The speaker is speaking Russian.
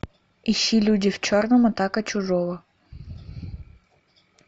ищи люди в черном атака чужого